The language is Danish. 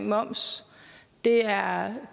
moms er